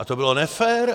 A to bylo nefér?